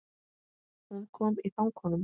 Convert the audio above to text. Hún kom í fang honum.